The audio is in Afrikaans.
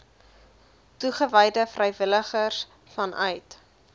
toegewyde vrywilligers vanuit